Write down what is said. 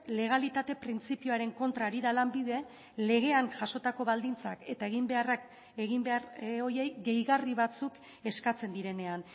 legalitate printzipioaren kontra ari da lanbide legean jasotako baldintzak eta eginbeharrak egin behar horiei gehigarri batzuk eskatzen direnean